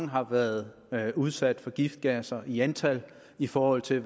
har været udsat for giftgasser i antal i forhold til